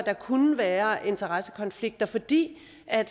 der kunne være interessekonflikter fordi